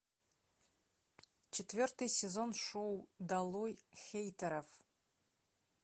четвертый сезон шоу долой хейтеров